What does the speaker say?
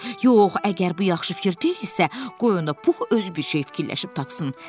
Yox, əgər bu yaxşı fikir deyilsə, qoy onda Pux özü bir şey fikirləşib tapsın.